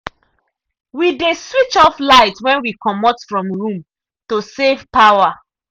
we dey switch off light when we comot room to save power.